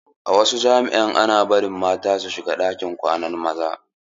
A wasu jami'an ana bari mata su shiga ɗakin kwanan maza.